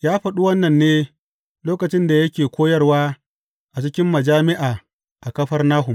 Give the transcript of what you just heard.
Ya faɗi wannan ne lokacin da yake koyarwa a cikin majami’a a Kafarnahum.